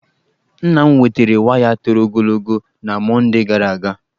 Nna m wetara waya toro ogologo na Mọndee gara aga.